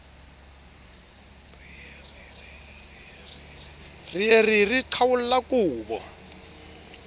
re re re qhwaolla kobo